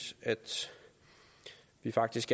faktisk